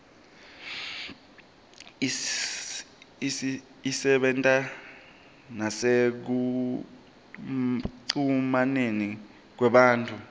isebenta nasekucumaneni kwethu